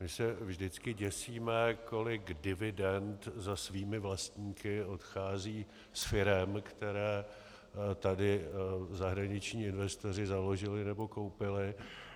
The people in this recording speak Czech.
My se vždycky děsíme, kolik dividend za svými vlastníky odchází z firem, které tady zahraniční investoři založili nebo koupili.